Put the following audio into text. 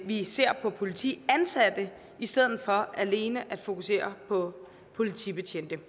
vi ser på politiansatte i stedet for alene at fokusere på politibetjente